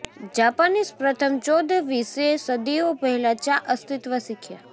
Japanese પ્રથમ ચૌદ વિશે સદીઓ પહેલા ચા અસ્તિત્વ શીખ્યા